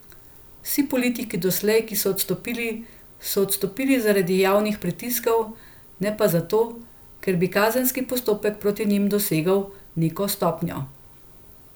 Vsi politiki doslej, ki so odstopili, so odstopili zaradi javnih pritiskov, ne pa zato, ker bi kazenski postopek proti njim dosegel neko stopnjo.